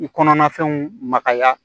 I kɔnɔnafɛnw magaya